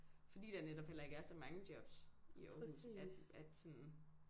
Fordi der netop heller ikke er så mange jobs i Aarhus at at sådan